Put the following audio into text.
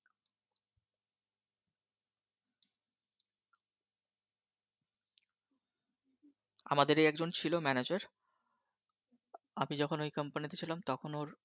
আমাদেরই একজন ছিল Manager আগে যখন ওই Company তে ছিলাম তখন ওর